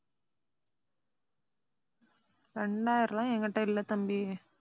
இரண்டாயிரம்லாம் என்கிட்ட இல்ல தம்பி.